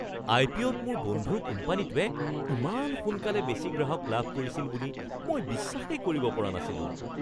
আইপিঅ'-ত মোৰ বন্ধুৰ কোম্পানীটোৱে ইমান সোনকালে বেছি গ্ৰাহক লাভ কৰিছিল বুলি মই বিশ্বাসেই কৰিব পৰা নাছিলো।